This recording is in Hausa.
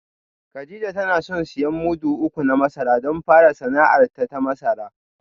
Kadija tana son siyan mudu uku na masara don fara sana’arta ta masara